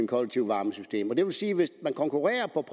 kollektive varmesystem og det vil sige at hvis man konkurrerer på